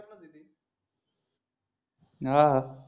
आह हा